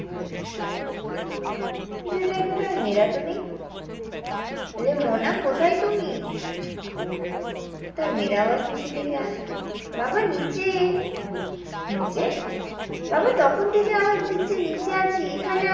খুঁজে দেখে তা মেয়েরা তো নেই অরে মোনা কোথায় তুমি তার মেয়ের আওয়াজ নিচে থেকে আসে বাবা নিচে নিচে? বাবা তখন থেকে আমি আর দিদি যে নিচে আছি